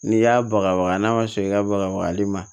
N'i y'a bagabaga n'a ma sɔn i ka bagali ma